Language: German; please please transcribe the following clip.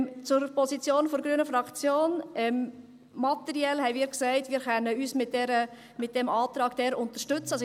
Zur Position der grünen Fraktion: Materiell haben wir gesagt, dass wir diesen Antrag unterstützen können.